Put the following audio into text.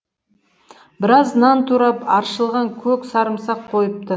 біраз нан турап аршылған көк сарымсақ қойыпты